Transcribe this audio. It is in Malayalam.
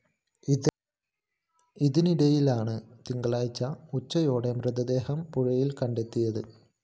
ഇതിനിടയിലാണ് തിങ്കളാഴ്ച ഉച്ചയോടെ മൃതദേഹം പുഴയില്‍ കണ്ടെത്തിയത്